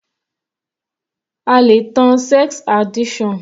A le tan sex addiction.